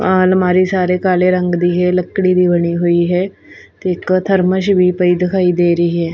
ਇਹ ਅਲਮਾਰੀ ਸਾਰੇ ਕਾਲੇ ਰੰਗ ਦੀ ਹੈ ਲੱਕੜੀ ਦੀ ਬਣੀ ਹੋਈ ਹੈ ਤੇ ਇੱਕ ਥਰਮੋਸ਼ ਵੀ ਪਈ ਦਿਖਾਈ ਦੇ ਰਹੀ ਹੈ।